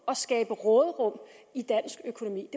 og skabe råderum i dansk økonomi